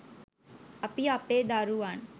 අපි අපේ දරුවන්